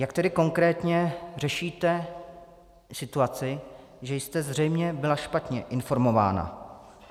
Jak tedy konkrétně řešíte situaci, že jste zřejmě byla špatně informována?